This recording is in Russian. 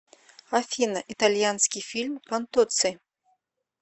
афина итальянский фильм контоций